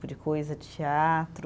Coisa, de teatro.